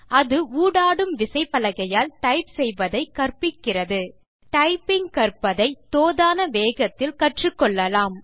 அது ஊடாடும் விசைப்பலகையால் டைப் செய்வதை கற்பிக்கிறது டைப்பிங் கற்பதை உங்களுக்கு தோதான வேகத்தில் கற்றுக்கொள்ளலாம்